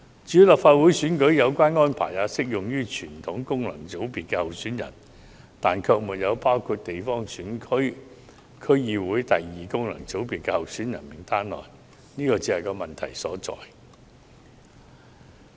至於立法會選舉，有關安排亦適用於傳統功能界別候選人，但卻不適用於地方選區或區議會功能界別候選人名單上的候選人，這是問題所在。